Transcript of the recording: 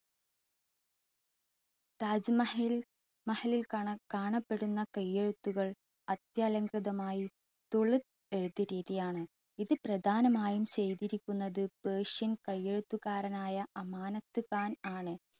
താജ്മഹലിൽ കാണപ്പെടുന്ന കൈയ്യെഴുത്തുകൾ അത്യലംകൃതമായി തുളു എഴുത്തു രീതിയാണ്. ഇത് പ്രദാനമായും ചെയ്തിരിക്കുന്നത് പേർഷ്യൻ കൈയ്യെഴുത്തുകാരനായ അമാനത്ത്ഖാൻ ആണ്.